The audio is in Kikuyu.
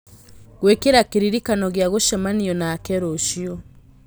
gwĩkĩra kĩririkano gĩa gũcemania nake rũciũ